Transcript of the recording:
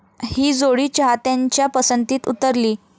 ही जोडी चाहत्यांच्या पसंतीस उतरली.